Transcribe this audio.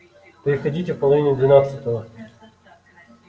приходите в половине двенадцатого